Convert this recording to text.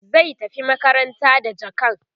zai tafi makaranta da jakan